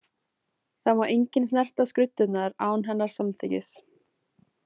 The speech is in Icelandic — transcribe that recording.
Það má enginn snerta skruddurnar án hennar samþykkis.